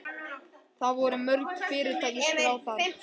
Það voru mörg fyrirtæki skráð þar